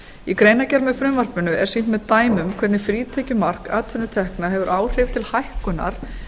í greinargerð með frumvarpinu er sýnt með dæmum hvernig frítekjumark atvinnutekna hefur áhrif til hækkunar